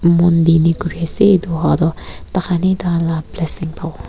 mon di ne kuri ase etu hoa toh tahan he taila blessing pawo.